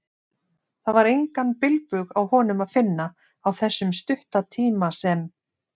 Það var engan bilbug á honum að finna, á þessum stutta tíma sem